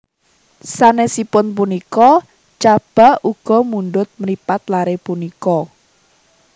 Sanesipun punika Chaba uga mundhut mripat lare punika